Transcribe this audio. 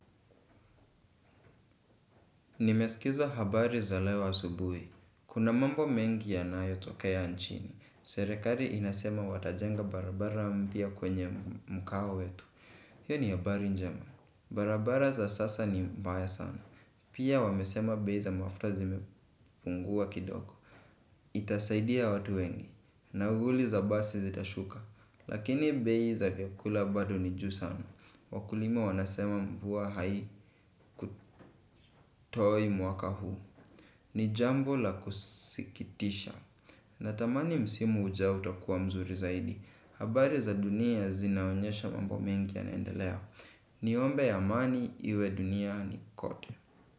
Nimesikiza habari za le asubuhi. Kuna mambo mengi yanayotokea anchini. Serekali inasema watajenga barabara mpya kwenye mkahawa wetu. Hio ni habari njema. Barabara za sasa ni mbaya sana. Pia wamesema bei za mafuta zimepungua kidoko. Itasaidia watu wengi. Nauli za basi zitashuka. Lakini bei za vyakula bado ni juu sana. Wakulima wanasema mvua haikutoi mwaka huu. Ni jambo la kusikitisha. Natamani msimu ujao utakuwa mzuri zaidi. Habari za dunia zinaonyesha mambo mengi yanaendelea. Niombe amani iwe duniani kote.